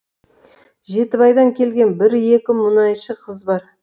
жетібайдан келген бір екі мұнайшы қыз бар